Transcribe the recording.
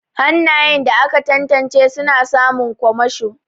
Hannayen da aka tantance suna samun kwamasho.